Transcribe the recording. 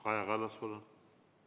Kaja Kallas, palun!